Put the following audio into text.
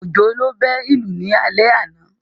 Òjó ló bẹ́ ìlù ní alẹ́ àná